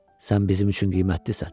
Sən bizim üçün qiymətlisən.